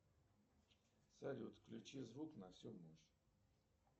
салют включи звук на всю мощь